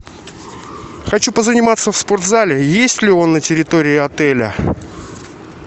хочу позаниматься в спорт зале есть ли он на территории отеля